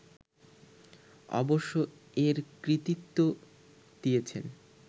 অবশ্য এর কৃতিত্ব দিয়েছেন